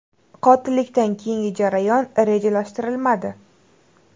Qotillikdan keyingi jarayon rejalashtirilmadi.